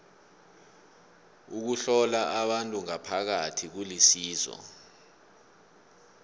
ukuhlola abantu ngaphakathi kulisizo